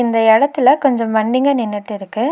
இந்த எடத்துல கொஞ்சோ வண்டிக நின்னுட்டு இருக்கு.